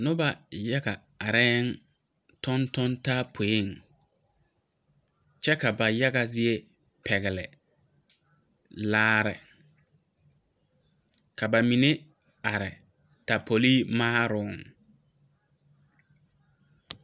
Noba yaga areŋ a tontoŋ taa poeŋ kyɛ ka ba yaga zie pɛgeli laare ka ba mine are tapoli maaroŋ.